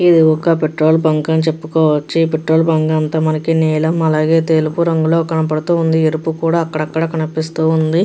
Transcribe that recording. ఇది ఒక petrol bunk అని చెప్పుకోవచ్చు. ఈ పెట్రోల్ బంక్ అంతా మనకి నీలం అలాగే తెలుపు రంగులో కనపడుతూ ఉంది. ఎరుపు కూడా అక్కడక్కడ కనిపిస్తోంది.